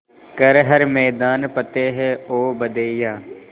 कर हर मैदान फ़तेह ओ बंदेया